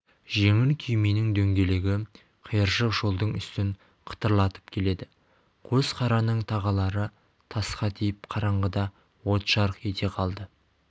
жеңіл күйменің дөңгелегі қиыршық жолдың үстін қытырлатып келеді қос қараның тағалары тасқа тиіп қараңғыда от жарқ ете қалды